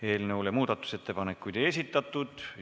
Eelnõu kohta muudatusettepanekuid ei esitatud.